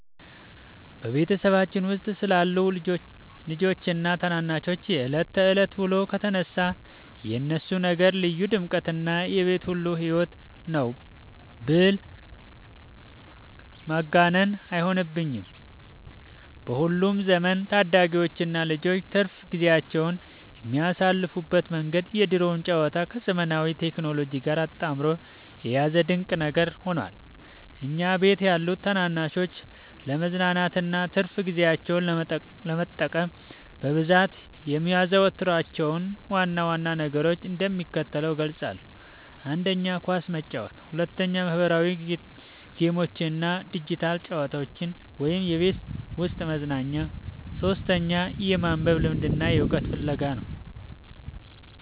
በቤተሰባችን ውስጥ ስላሉት ልጆችና ታናናሾች የዕለት ተዕለት ውሎ ከተነሳ፣ የእነሱ ነገር ልዩ ድምቀትና የቤቱ ሁሉ ሕይወት ነው ብል ማጋነን አይሆንብኝም። በአሁኑ ዘመን ታዳጊዎችና ልጆች ትርፍ ጊዜያቸውን የሚያሳልፉበት መንገድ የድሮውን ጨዋታ ከዘመናዊው ቴክኖሎጂ ጋር አጣምሮ የያዘ ድንቅ ነገር ሆኗል። እኛ ቤት ያሉ ታናናሾች ለመዝናናትና ትርፍ ጊዜያቸውን ለመጠቀም በብዛት የሚያዘወትሯቸውን ዋና ዋና ነገሮች እንደሚከተለው እገልጻለሁ፦ 1. ኳስ መጫወት 2. ማኅበራዊ ጌሞችና ዲጂታል ጨዋታዎች (የቤት ውስጥ መዝናኛ) 3. የማንበብ ልምድና የዕውቀት ፍለጋ